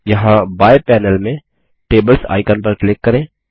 यहाँ बाएं पैनल में टेबल्स आइकन पर क्लिक करें